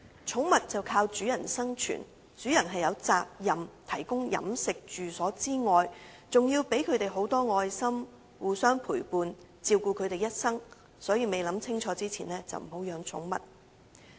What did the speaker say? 寵物依賴主人生存，而主人除有責任提供飲食及住所外，還要給牠們很多愛心，互相陪伴和照顧牠們一生，所以未想清楚便不要養寵物。